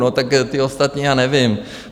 No tak ti ostatní, já nevím...